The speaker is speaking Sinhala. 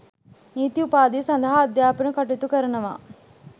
නීති උපාධිය සඳහා අධ්‍යාපන කටයුතු කරනවා